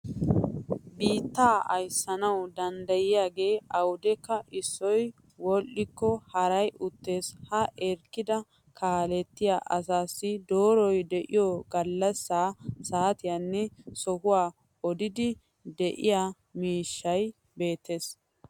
Biittaa ayssanawu danddayiyaagee awudekka issoy wodhdhikko haray uttes. Ha erekkida kaalettiya asaassi dooroy diyo gallassaa, saatiyanne sohuwan odiiddi de'iya miishshay beettes.